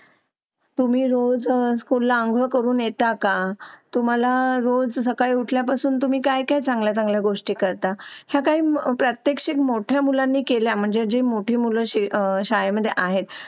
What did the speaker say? तुम्ही रोज फुलांवरून येता का? तुम्हाला रोज सकाळी उठल्यापासून तुम्ही काय काय चांगल्या चांगल्या गोष्टी करता काही प्रत्येक मोठ्या मुलांनी केला म्हणजे मोठी मुलांची शाळेमध्ये आहेत